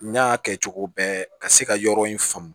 N y'a kɛ cogo bɛɛ ka se ka yɔrɔ in faamu